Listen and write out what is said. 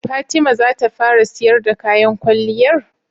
Fatima zata fara siyar da kayan kwalliyar?